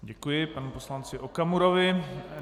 Děkuji panu poslanci Okamurovi.